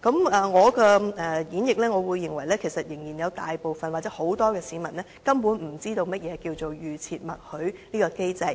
根據我的演繹，我認為有大部分市民根本不知道何謂預設默許機制；再